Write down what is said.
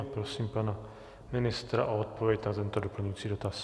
A prosím pana ministra o odpověď na tento doplňující dotaz.